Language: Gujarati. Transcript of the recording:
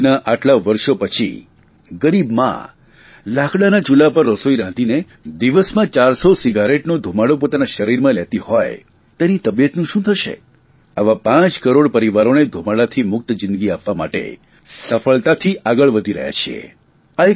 આઝાદીનાં આટલાં વર્ષો પછી ગરીબ મા લાકડાના ચૂલા પર રસોઇ રાંધીને દિવસમાં 400 સિગારેટનો ધુમાડો પોતાના શરીરમાં લેતી હોય તેની તબિયતનું શું થશે આવા પાંચ કરોડ પરિવારે ધુમાડાથી મુક્ત જિંદગી આપવા માટે સફળતાથી આગળ વધી રહ્યા છીએ